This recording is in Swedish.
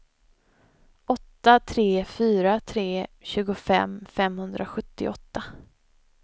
åtta tre fyra tre tjugofem femhundrasjuttioåtta